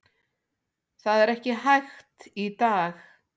Það er ekki hægt í dag.